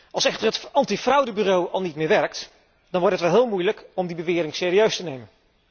Als echter het antifraudebureau al niet meer werkt, dan wordt het wel heel moeilijk om die bewering serieus te nemen.